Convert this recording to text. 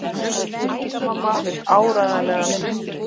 Tengdamamma vill áreiðanlega minna.